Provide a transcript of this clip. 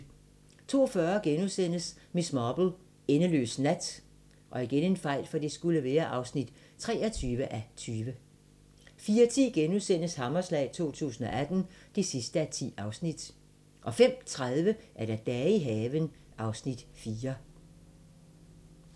02:40: Miss Marple: Endeløs nat (23:20)* 04:10: Hammerslag 2018 (10:10)* 05:30: Dage i haven (Afs. 4)